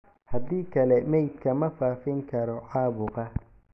haddii kale, meydka ma faafin karo caabuqa."